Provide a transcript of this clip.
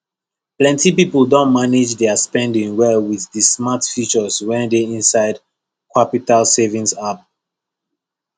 plenty people don manage their spending well with the smart features wey dey inside qapital savings app